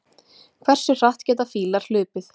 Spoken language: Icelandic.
hversu hratt geta fílar hlaupið